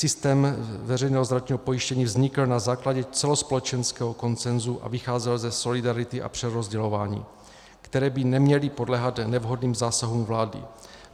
Systém veřejného zdravotního pojištění vznikl na základě celospolečenského konsenzu a vycházel ze solidarity a přerozdělování, které by neměly podléhat nevhodným zásahům vlády.